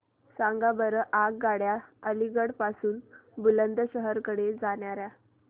सांगा बरं आगगाड्या अलिगढ पासून बुलंदशहर कडे जाणाऱ्या